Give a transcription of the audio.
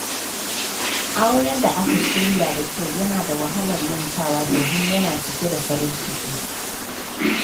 Auren da aka shirya da kyau yana da wahalar mantawa, domin yana cike da farin ciki.